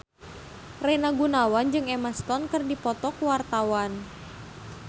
Rina Gunawan jeung Emma Stone keur dipoto ku wartawan